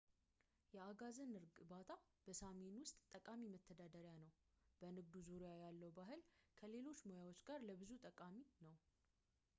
የአጋዘን እርባታ በሳሚ ውስጥ ጠቃሚ መተዳደሪያ ነው እና በንግዱ ዙሪያ ያለው ባህል ከሌሎች ሙያዎች ጋር ለብዙ ጠቃሚ ነው